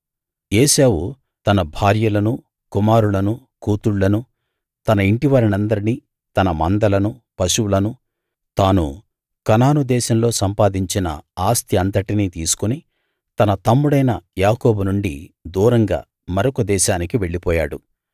ఏశావు తన భార్యలనూ కుమారులనూ కూతుళ్ళనూ తన ఇంటివారందరినీ తన మందలనూ పశువులనూ తాను కనాను దేశంలో సంపాదించిన ఆస్తి అంతటినీ తీసుకుని తన తమ్ముడైన యాకోబు నుండి దూరంగా మరొక దేశానికి వెళ్ళిపోయాడు